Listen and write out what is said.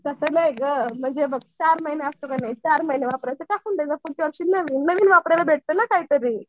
तसं नाही गं हे बघ चार महिने असतं का नाही चार महिने वापरायचं टाकून द्यायचं पुढच्या वर्षी नवीन घ्यायचं. नवीन वापरायला भेटतं ना काहीतरी.